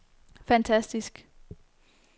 fantastisk